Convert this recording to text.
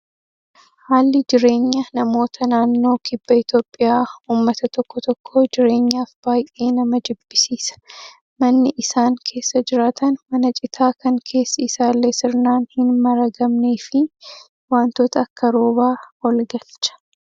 Haalli jireenya namoota naannoo kibba Itoophiyaa uummata tokko tokkoo jireenyaaf baay'ee nama jibbisiisa. Manni isaan keessa jiraatan mana citaa kan keessi isallee sirnaan hin maragamnee fi wantoota akka roobaa ol galcha.